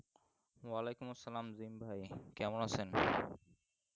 অলাইকুম আসসালাম জিম ভাই কেমন আছেন